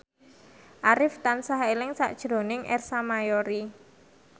Arif tansah eling sakjroning Ersa Mayori